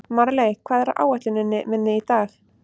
Marley, hvað er á áætluninni minni í dag?